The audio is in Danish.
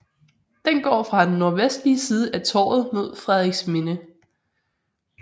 Den går fra den nordvestlige side af Torvet mod Frederiksminde